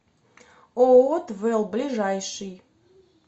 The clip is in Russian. ооо твэл ближайший